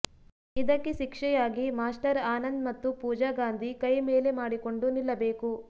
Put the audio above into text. ಇದಕ್ಕೆ ಶಿಕ್ಷೆಯಾಗಿ ಮಾಸ್ಟರ್ ಆನಂದ್ ಮತ್ತು ಪೂಜಾ ಗಾಂಧಿ ಕೈ ಮೇಲೆ ಮಾಡಿಕೊಂಡು ನಿಲ್ಲಬೇಕು